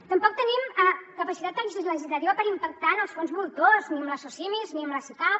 tampoc tenim capacitat legislativa per impactar en els fons voltors ni en les socimis ni en les sicav